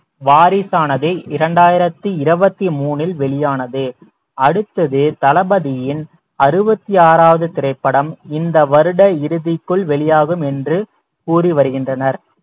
வாரிசானது இரண்டாயிரத்தி இருபத்தி மூணில் வெளியானது அடுத்தது தளபதியின் அறுபத்தி ஆறாவது திரைப்படம் இந்த வருட இறுதிக்குள் வெளியாகும் என்று கூறி வருகின்றனர்